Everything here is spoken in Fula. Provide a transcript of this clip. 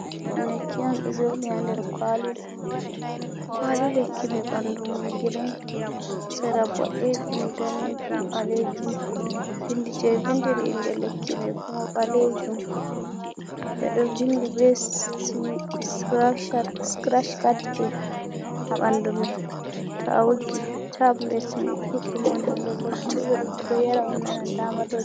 Lekki on ɗo joɗi na nder kwali, lekki me ɓanɗu mum girin sera boɗejum, ɗanejum, ɓalejum, bindi je vindiri inde lekki me fu mai ɓalejum, ɓedo vindi be srashcatpin ha ɓanɗu mai, to a woggi tablet mai ɗuɗɗum on ha nder, lekki bo ɓeɗo yara on nana dama.